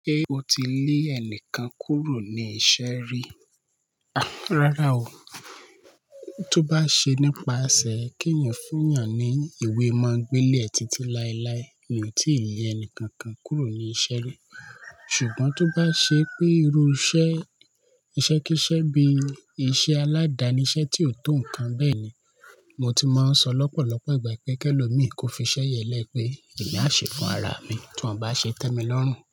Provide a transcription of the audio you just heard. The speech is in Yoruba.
Ṣé o ti lé ẹnìkan kúrò ní iṣẹ́ rí? Rárá o. Tó bá ṣe nípa ese kí ẹ̀yàn fún yan ní ìwé ma gbele ẹ títí láíláí mi ò tí lé ẹnìkan kan kúrò ní iṣẹ́ rí. Ṣùgbọ́n tó bá ṣe pé irú iṣẹ́, iṣẹ́ kí iṣẹ́ bí iṣẹ́ aládani, iṣẹ́ tí ò tó nǹkan bẹ́ẹ̀ni, mo ti máa ń sọ lọ́pọ̀lọpọ̀ ìgbà pé kí ẹlòmí kó fi iṣẹ́ yẹn lẹ pé èmi a ṣe fún ara mi tí wọ́n bá ṣe tẹ́ mi lọ́rùn.